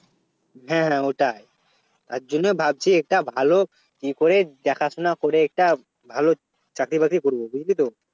হ্যাঁ হ্যাঁ ওটাই তার জন্য ভাবছি একটা ভালো ই করে দেখাশোনা করে একটা ভালো চাকরি বাকরি করব বুঝলি তো